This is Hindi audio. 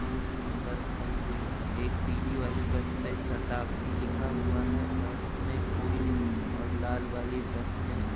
दो तीन बस खड़ी हुई हैं। एक पीली वाली बस पे शताब्दी लिखा हुआ है और उसमें कोई नहीं है और लाल वाली बस में --